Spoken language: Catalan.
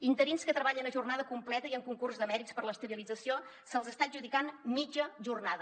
a interins que treballen a jornada completa i en concurs de mèrits per a l’estabilització se’ls està adjudicant mitja jornada